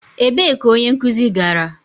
Ebee ka onye nkuzi gara?